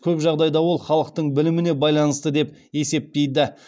көп жағдайда ол халықтың біліміне байланысты деп есептейді